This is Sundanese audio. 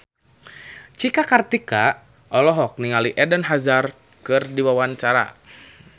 Cika Kartika olohok ningali Eden Hazard keur diwawancara